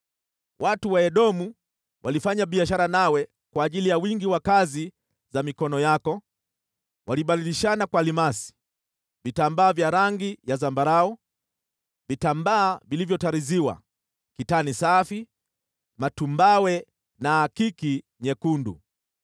“ ‘Watu wa Aramu walifanya biashara nawe kwa ajili ya wingi wa kazi za mikono yako, wakibadilishana kwa almasi, vitambaa vya rangi ya zambarau, vitambaa vilivyotariziwa, kitani safi, matumbawe na akiki nyekundu.